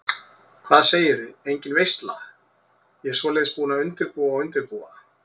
Hvað segiði, engin veisla, ég svoleiðis búin að undirbúa og undirbúa.